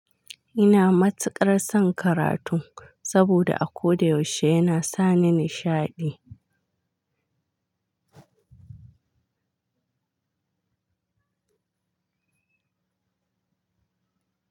Ina matsakar son karatu saboda a ko da yaushe yana sa ni nishaɗi.